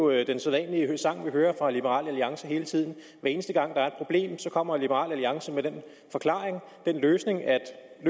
er jo den sædvanlige sang vi hører fra liberal alliance hver eneste gang der er et problem kommer liberal alliance med den forklaring at løsningen er